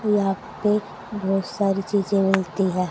यहां पे बहोत सारी चीजें मिलती हैं।